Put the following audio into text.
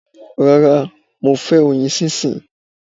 Rárá, mo fẹ́ oyin sísìn.